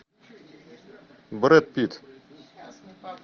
брэд питт